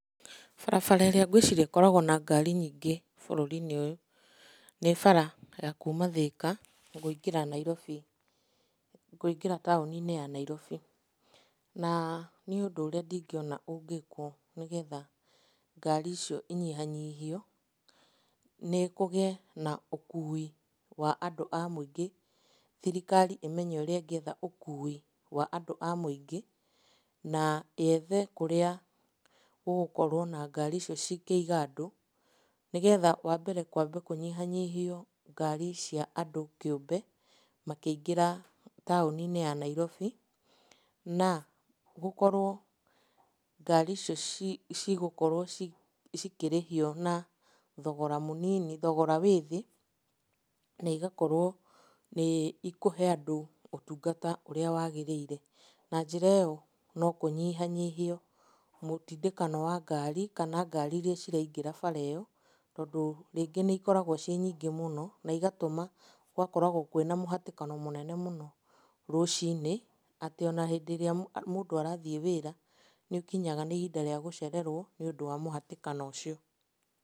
Barabara ĩrĩa ngwĩciria ĩkoragwo na ngari nyingĩ bũrũri-inĩ ũyũ, nĩ bara ya kuma Thĩka kũingĩra Nairobi, kũingĩra taũni-inĩ ya Nairobi. Na, niĩ ũndũ ũrĩa ndingĩona ũngĩkwo nĩgetha ngari icio inyihanyihio nĩ kũgĩe na ũkui wa andũ a mũingĩ. Thirikari ĩmenye ũrĩa ĩngĩetha ũkui wa andũ a mũingĩ, na yethe kũrĩa gũgũkorwo na ngari icio cingĩiga andũ, nĩgetha wambere kwambe kũnyihanyihio ngari cia andũ kĩũmbe, makĩingĩra taũni-inĩ ya Nairobi, na gũkorwo ngari icio cigũkorwo cikĩrĩhio na thogora mũnini thogora wĩ thĩ, na igakorwo nĩ ikũhe andũ ũtungata ũrĩa wagĩrĩire, Na njĩra ĩyo no kũnyihanyihie mũtindĩkano wa ngari, kana ngari iria ciraingĩra bara ĩyo, tondũ rĩngĩ nĩikoragwo ciĩ nyingĩ mũno na igatũma gũgakoragwo kwĩna mũhatĩkano mũnene mũno rũcinĩ, atĩ ona hĩndĩ ĩrĩa mũndũ arathiĩ wĩra, nĩũkinyaga nĩ ihinda rĩa gũcererwo nĩũndũ wa mũhatĩkano ũcio.